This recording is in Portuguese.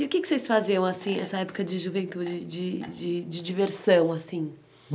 E o que vocês faziam, assim, nessa época de juventude, de de diversão, assim?